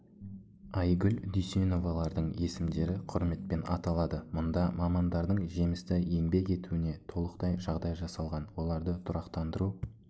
айгүл дүйсеновалардың есімдері құрметпен аталады мұнда мамандардың жемісті еңбек етуіне толықтай жағдай жасалған оларды тұрақтандыру